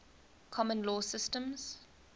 common law systems